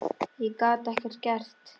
Ég gat ekkert gert.